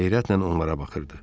Heyrətlə onlara baxırdı.